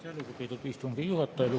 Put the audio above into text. Aitäh, lugupeetud istungi juhataja!